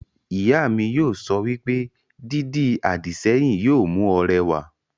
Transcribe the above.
Ìyá mi yóò sọ wípé, 'Dídi àdìsẹ́yìn yóò mú ọ rẹwà'